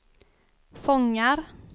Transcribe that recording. fångar